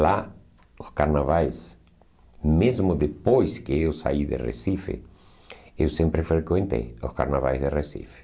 Lá, os carnavais, mesmo depois que eu saí do Recife, eu sempre frequentei os carnavais do Recife.